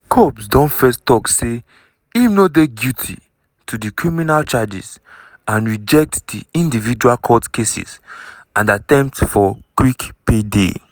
combs don first tok say im no dey guilty to di criminal charges and reject di individual court cases and attempt "for quick payday".